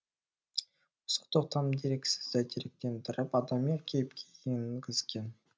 осы тоқтам дерексізді деректендіріп адами кейіпке енгізген